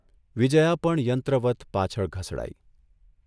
વિજયા પણ યંત્રવત્ પાછળ ઘસડાઇ.